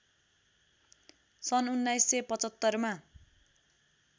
सन् १९७५ मा